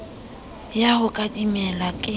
ya ho ka timela ke